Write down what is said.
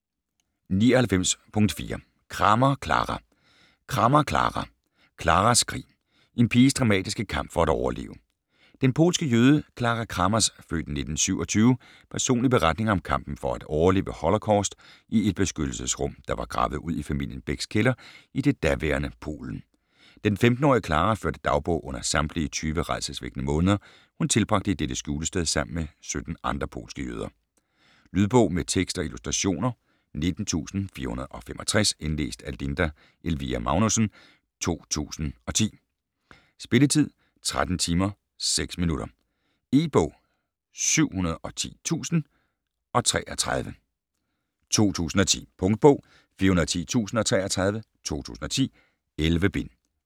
99.4 Kramer, Clara Kramer, Clara: Claras krig: en piges dramatiske kamp for at overleve Den polske jøde Clara Kramers (f. 1927) personlige beretning om kampen for at overleve holocaust i et beskyttelsesrum, der var gravet ud i familien Becks kælder i det daværende Polen. Den 15-årige Clara førte dagbog under samtlige tyve rædselsvækkende måneder, hun tilbragte i dette skjulested sammen med 17 andre polske jøder. Lydbog med tekst og illustrationer 19465 Indlæst af Linda Elvira Magnussen, 2010. Spilletid: 13 timer, 6 minutter. E-bog 710033 2010. Punktbog 410033 2010. 11 bind.